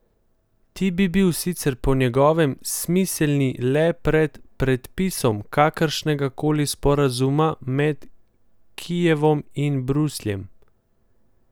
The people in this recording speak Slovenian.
Ti bi bili sicer po njegovem smiselni le pred podpisom kakršnega koli sporazuma med Kijevom in Brusljem.